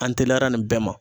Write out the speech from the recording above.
An teliyara nin bɛɛ ma.